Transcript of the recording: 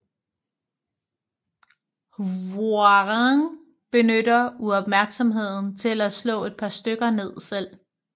Hwoarang benytter uopmærksomheden til at slå et par stykker ned selv